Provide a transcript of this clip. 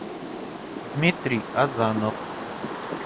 дмитрий азанов